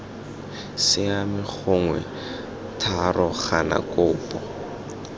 siame gongwe iii gana kopo